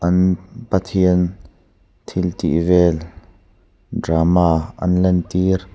an pathian thil tih vel drama an lan tir.